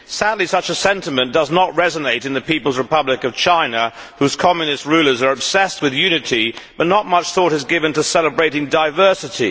Sadly, such a sentiment does not resonate in the People's Republic of China, whose Communist rulers are obsessed with unity, but not much thought is given to celebrating diversity.